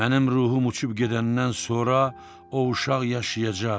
Mənim ruhum uçub gedəndən sonra o uşaq yaşayacaq.